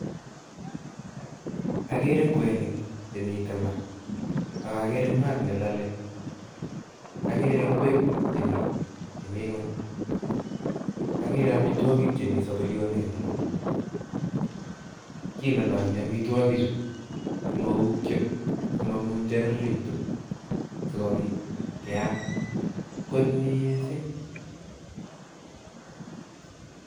Akere kwenik chemiten maa, ak akere maat nelale, akere ingwek chemi ingwony, akere amitwokik chemi saburionik eng maa, kilolonyi amitwokichu simoukyo, simomunjererekitun, sikobit kyam kot mising.